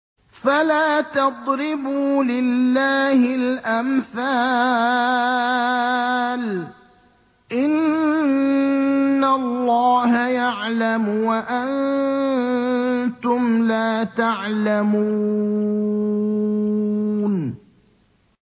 فَلَا تَضْرِبُوا لِلَّهِ الْأَمْثَالَ ۚ إِنَّ اللَّهَ يَعْلَمُ وَأَنتُمْ لَا تَعْلَمُونَ